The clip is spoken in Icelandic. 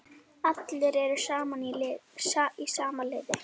Allir eru í sama liði.